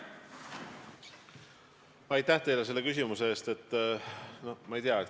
Aitäh teile selle küsimuse eest!